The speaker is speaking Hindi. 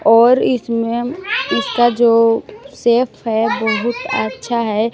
और इसमें इसका जो सेफ है बहुत अच्छा है।